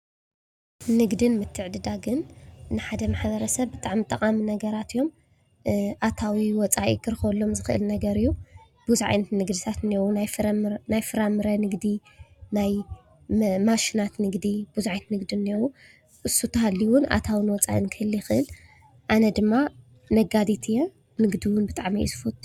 ንግድን ምትዕድዳግን ንሓደ ማሕበረሰብ ብጣዕሚ ጠቓሚ ነገራት እዮም፡፡ ኣታዊ ወፃኢ ክረኽበሎም ዝኽእል ነገር እዩ፡፡ ብዙሕ ዓይነት ንግድታት እኔእዉ፡፡ ናይ ፍራምረ ንግዲ፣ ናይ ማሽናት ንግዲ ብዙሓት ዓይነት ንግዲ እንኤዉ፡፡ እሱ እንተሃልዩውን ኣታውን ወፃእን ክህሉ ይኽእል፡፡ ኣነ ድማ ነጋዲት እዩ፡፡ ንግዲ እውን ብጣዕሚ እየ ዝፈቱ፡፡